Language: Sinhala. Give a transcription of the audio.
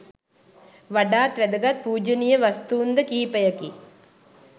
වඩාත් වැදගත් පූජනීය වස්තූන්ද කිහිපයකි.